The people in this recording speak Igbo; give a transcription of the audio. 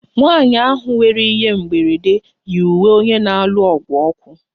Nwanyị ahụ nwere ihe mberede yi uwe onye na-alụ ọgụ ọkụ